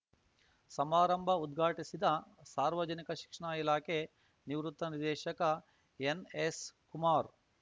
ಸಮಾರಂಭ ಉದ್ಘಾಟಿಸಿದ ಸಾರ್ವಜನಿಕ ಶಿಕ್ಷಣ ಇಲಾಖೆ ನಿವೃತ್ತ ನಿರ್ದೇಶಕ ಎನ್‌ಎಸ್‌ಕುಮಾರ್‌